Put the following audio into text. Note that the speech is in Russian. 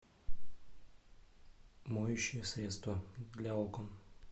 моющее средство для окон